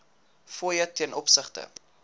fooie ten opsigte